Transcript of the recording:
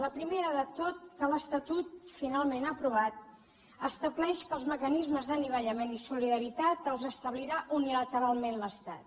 la primera de totes que l’es tatut finalment aprovat estableix que els mecanismes d’anivellament i solidaritat els establirà unilateralment l’estat